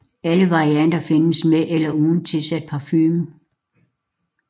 Alle varianter findes med eller uden tilsat parfume